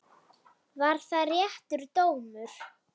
Var það réttur dómur?